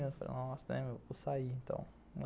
Eu falei, nossa...né, meu, vou sair, então.